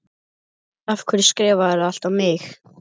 Af hverju skrifarðu það allt á mig?